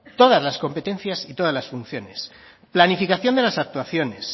todas las competencias y todas las funciones planificación de las actuaciones